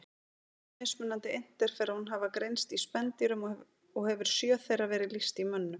Tíu mismunandi interferón hafa greinst í spendýrum og hefur sjö þeirra verið lýst í mönnum.